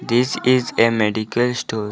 This is a medical store.